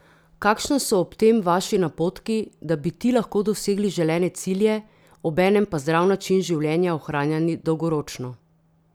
Kakšna so ob tem Vaši napotki, da bi ti lahko dosegli želene cilje, obenem pa zdrav način življenja ohranjali dolgoročno?